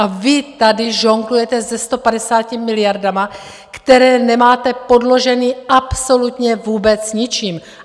A vy tady žonglujete se 150 miliardami, které nemáte podloženy absolutně vůbec ničím!